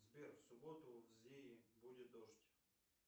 сбер в субботу в зие будет дождь